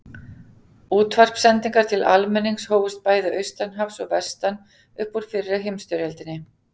Útvarpssendingar til almennings hófust bæði austan hafs og vestan upp úr fyrri heimsstyrjöldinni.